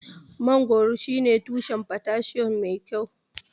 Mangoro shine tushen potassium mai kyau.